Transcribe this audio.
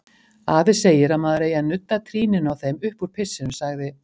Afi segir að maður eigi að nudda trýninu á þeim uppúr pissinu, sagði